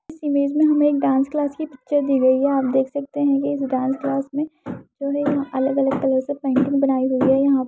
इस इमेज में हमें डांस क्लास की पिक्चर दी गई है आप देख सकते है ये जो डांस क्लास में जो है यह अलग अलग कलर से पेंटिंग बनाई गई है यहां --